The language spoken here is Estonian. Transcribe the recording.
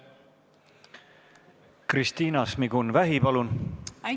Kristina Šmigun-Vähi, palun!